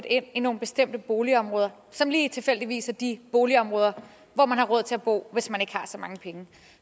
ind i nogle bestemte boligområder som lige tilfældigvis er de boligområder hvor man har råd til at bo hvis man ikke har så mange penge